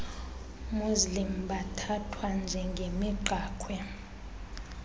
muslim bathathwa njengemigqakhwe